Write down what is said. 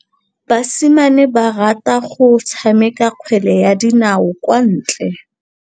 Basimane ba rata go tshameka kgwele ya dinaô kwa ntle.